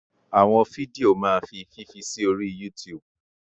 Àwọn fídíò máa fi fífi sí orí YouTube.